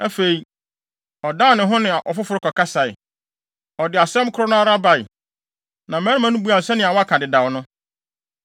Afei, ɔdan ne ho ne afoforo kɔkasae. Ɔde asɛm koro no ara bae, na mmarima no buaa no sɛnea wɔaka dedaw no.